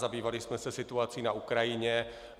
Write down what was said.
Zabývali jsme se situací na Ukrajině.